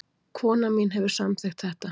Konan mín hefur samþykkt þetta